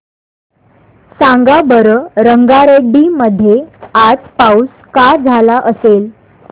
सांगा बरं रंगारेड्डी मध्ये आज पाऊस का झाला असेल